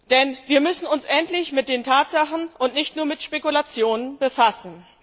Denn wir müssen uns endlich mit den Tatsachen und nicht nur mit Spekulationen befassen.